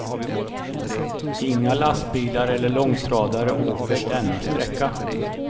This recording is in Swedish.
Inga lastbilar eller långtradare åker denna sträcka.